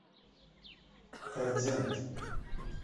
кардент